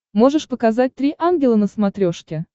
можешь показать три ангела на смотрешке